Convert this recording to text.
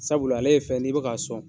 Sabula ale ye fɛn ye n'i bɛ ka sɔn.